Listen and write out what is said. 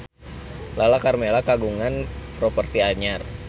Lala Karmela kagungan properti anyar